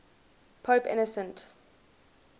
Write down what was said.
pope innocent